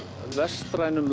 vestrænum